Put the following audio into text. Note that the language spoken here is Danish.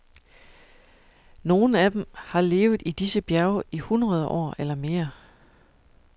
Nogle af dem har levet i disse bjerge i hundrede år eller mere.